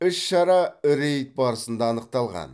іс шара рейд барысында анықталған